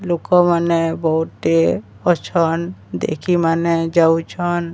ଲୋକମାନେ ବହୁତି ଅଛନ୍ ଦେଖି ମାନେ ଯାଉଛନ୍।